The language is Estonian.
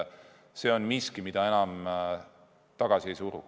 See on miski, mida enam tagasi ei suru.